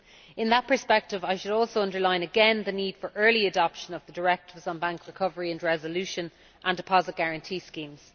In that perspective, I should like to underline again the need for early adoption of the directives on bank recovery and resolution and deposit guarantee schemes.